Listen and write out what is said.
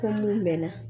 Ko mun mɛn na